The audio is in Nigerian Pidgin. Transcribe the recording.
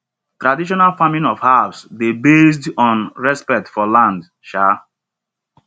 traditional farming of herbs dey based on respect for land um